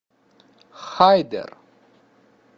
хайдер